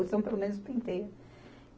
Ou se não, pelo menos, penteia.